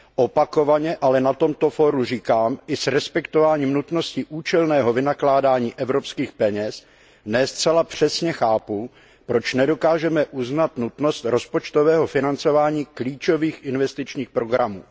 Opakovaně ale na tomto fóru říkám, že i s respektováním nutnosti účelného vynakládání evropských peněz ne zcela přesně chápu, proč nedokážeme uznat nutnost rozpočtového financování klíčových investičních programů.